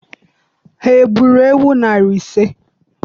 Ha gburu ewu narị ise?